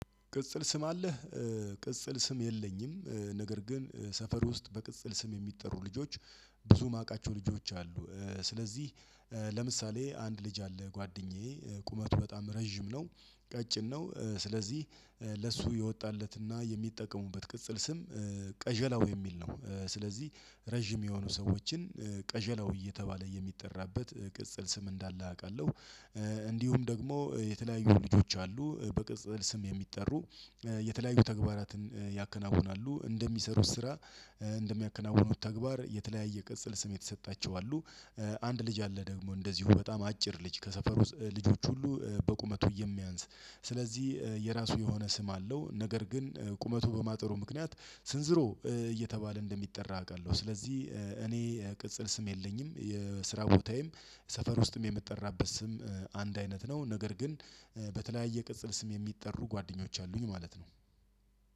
ቅጽል ስም አለህ? ቅጽል ስም የለኝም። ነገር ግን ሰፈር ውስጥ በቅጽል ስም የሚጠሩ ልጆች ብዙ የማውቃቸው ልጆች አሉ። ስለዚህ ለምሳሌ አንድ ልጅ አለ ጓደኛዬ ቁመቱ በጣም ረጅም ነው። ቀጭን ነው። ስለዚህ ለሱ የወጣለትና የሚጠቀሙበት ቅጽል ስም ቀጀላው የሚል ነው። ስለዚህ ረጅም የሆኑ ሰዎችን ቀዠላው እየተባለ የሚጠራበት ቅጽል ስም እንዳለ አውቃለሁ። እንዲሁም ደግሞ የተለያዩ ልጆች አሉ። በቅጽል ስም የሚጠሩ የተለያዩ ተግባራትን ያከናውናሉ እንደሚሰሩት ስራ። እንደሚያከናውኑት ተግባር የተለያየ ቅጽል ስም የተሰጣቸው አሉ። አንድ ልጅ አለ ደግሞ እንደዚሁ በጣም አጭር ልጅ ከሰፈሩ ልጆች ሁሉ በቁመቱ የሚያንስ ስለዚህ የራሱ የሆነ ስም አለው። ነገር ግን ቁመቱ በማጥሩ ምክንያት ስንዝሮ እየተባለ እንደሚጠራ አውቃለሁ። ስለዚህ እኔ ቅጽል ስም የለኝም። የስራ ቦታዬም ሰፈር ውስጥም የምትጠራበት ስም አንድ አይነት ነው። ነገር ግን በተለያየ ቅጽል ስም የሚጠሩ ጓደኞች አሉኝ ማለት ነው።